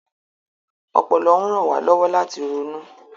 Ọpọlọ ń ran wa lọwọ lati ronu.